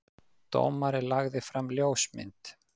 Dómari lagði fram ljósmynd